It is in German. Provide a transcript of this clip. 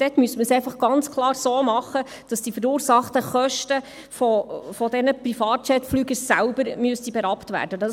Dort müsste man es ganz klar so machen, dass die durch diese Privatjetflüge verursachten Kosten von diesen selbst berappt werden müssten.